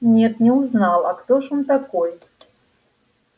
нет не узнал а кто ж он такой